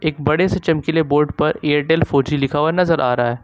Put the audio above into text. बड़े से चमकीले बोर्ड पर एयरटेल फोर जी लिखा हुआ नजर आ रहा है।